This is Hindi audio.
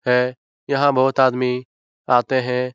है यहाँ बहुत आदमी आते हैं।